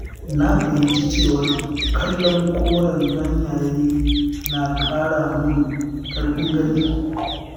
Na fahimci cewa kallon korayen ganyaye na ƙara mun ƙarfin gani.